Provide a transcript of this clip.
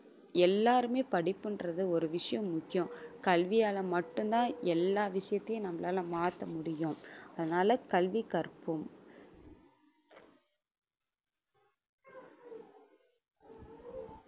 எல்லாருமே படிப்புன்றது ஒரு விஷயம் முக்கியம் கல்வியால மட்டும்தான் எல்லா விஷயத்தையும் நம்மளால மாத்த முடியும் அதனால கல்வி கற்போம்